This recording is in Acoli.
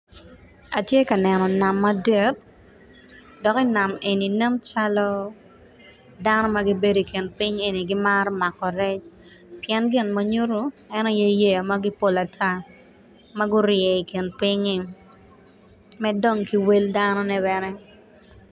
Atye ka neno nam madit dok i nam eni nen calo dano ma gibedo i kin piny eni gimaro mako rec pien gin ma nyutto en aye yeya mapol ata ma gurye i kin pinynyi med dong ki wel danone bene